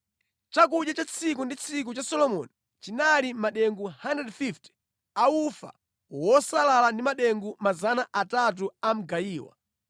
Chakudya cha tsiku ndi tsiku cha Solomoni chinali madengu 150 a ufa wosalala ndi madengu 300 a mgayiwa,